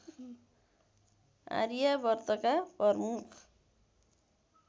आर्यावर्तका प्रमुख